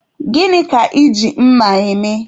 Gịnị ka Ị ji mma eme?